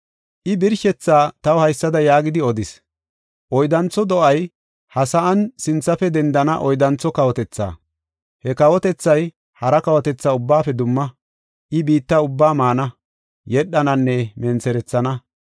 “I birshethaa taw haysada yaagidi odis; ‘Oyddantho do7ay ha sa7an sinthafe dendana oyddantho kawotethaa. He kawotethay hara kawotetha ubbaafe dumma; I, biitta ubbaa maana, yedhananne mentherethana.